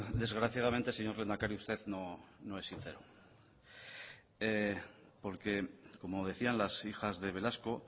desgraciadamente señor lehendakari usted no es sincero porque como decían las hijas de velasco